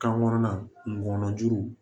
Kan kɔnɔna ngɔnɔjuguw